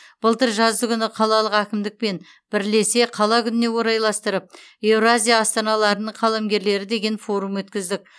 былтыр жаздыгүні қалалық әкімдікпен бірлесе қала күніне орайластырып еуразия астаналарының қаламгерлері деген форум өткіздік